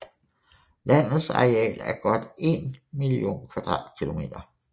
Landets areal er godt 1 mio km²